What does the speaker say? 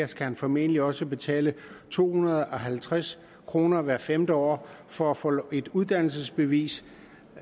skal han formentlig også betale to hundrede og halvtreds kroner hvert femte år for at få et uddannelsesbevis